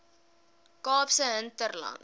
kaapse hinterland